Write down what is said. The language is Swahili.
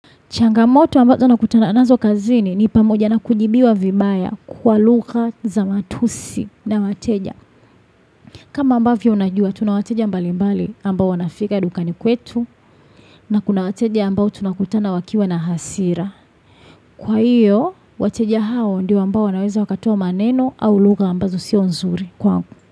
Changamoto ambazo nakutana nazo kazini ni pamoja na kujibiwa vibaya kwa lugha za matusi na wateja. Kama ambavyo unajua, tunawateja mbali mbali ambao wanafika dukani kwetu na kuna wateja ambao tunakutana wakiwa na hasira. Kwa hiyo, wateja hao ndi ambao wanaweza wakatoa maneno au lugha ambazo sio nzuri.